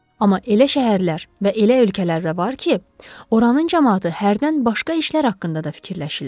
Amma elə şəhərlər və elə ölkələr də var ki, oranın camaatı hərdən başqa işlər haqqında da fikirləşirlər.